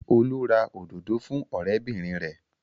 Olú ra òdòdó fún ọ̀rẹ́bìnrin rẹ̀.